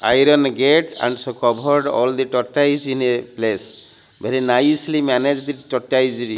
iron gate and so covered all the tortoise in a place very nicely managed tortoisory.